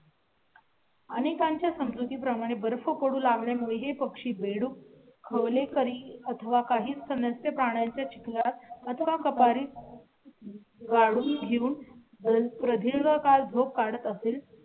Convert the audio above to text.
आणिकांच्या संस्कृती प्रमाणे बरं पकडू लागल्या मुळे हे पक्षी बेडूक खवले करी अथवा काही सदस्य प्राण्या च्या चिखलात का कपारी गाडून घेऊन प्रदीर्घ काळ झोप काढत असेल